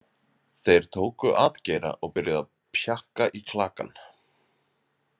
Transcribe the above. Þeir tóku atgeira og byrjuðu að pjakka í klakann.